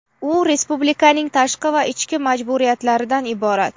U respublikaning tashqi va ichki majburiyatlaridan iborat.